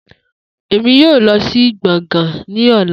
Emi yoo lọ si gboôgan ni ọla